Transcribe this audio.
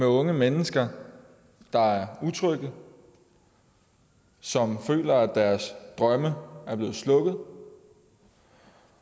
unge mennesker der er utrygge som føler at deres drømme er blevet slukket